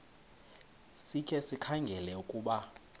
sikhe sikhangele ukuba